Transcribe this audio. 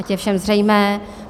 Ať je všem zřejmé.